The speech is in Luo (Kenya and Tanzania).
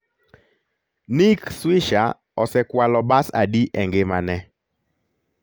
Nick Swisher osekwalo bas adi e ngimane?